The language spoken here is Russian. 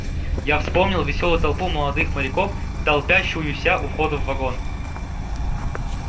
я вспомнил весёлую толпу молодых моряков толпящуюся у входа в вагон